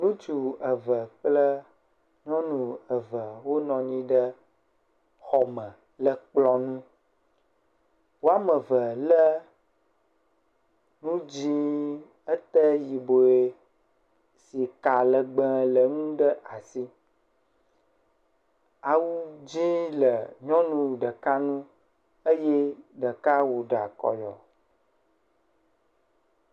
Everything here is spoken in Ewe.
Ŋutsu eve kple ŋyɔnu eve wo nɔanyi ɖe xɔme le kplɔ̃ŋu, woameve le nu dzĩ ete yibɔe si ka legbe le eŋu ɖe asi ɖeka awu dzĩ le nyɔnu ɖeka ŋu eye ɖeka wo ɖa kɔyɔ.